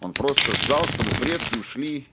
он просто ждал чтобы предки ушли